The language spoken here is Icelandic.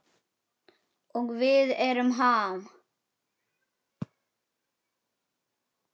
Og við erum Ham.